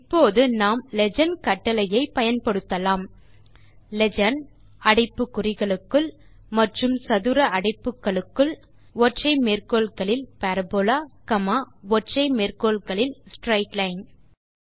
இப்போது நாம் லீஜெண்ட் கட்டளையை பயன்படுத்தலாம் லீஜெண்ட் அடைப்பு குறிகளுக்குள் மற்றும் சதுர அடைப்பு குறிகளுக்குள் பரபோலா ஸ்ட்ரெய்ட் லைன்